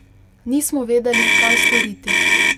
Nismo vedeli, kaj storiti.